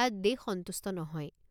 তাত দেশ সন্তুষ্ট নহয়।